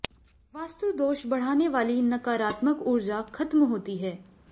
वास्तु दोष बढ़ाने वाली नकारात्मक ऊर्जा खत्म होती है